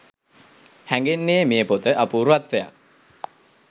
හැඟෙන්නේ මේ පොත අපූර්වත්වයක්